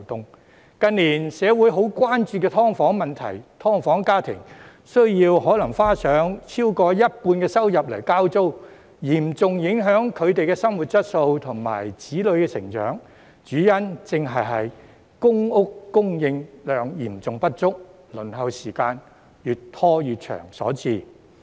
社會近年十分關注"劏房"問題，"劏房"家庭可能需花上超過一半收入交租，嚴重影響他們的生活質素和子女成長，主因正是公屋供應量嚴重不足，輪候時間越拖越長所致。